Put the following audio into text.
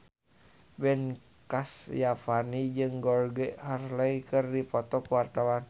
Ben Kasyafani jeung Georgie Henley keur dipoto ku wartawan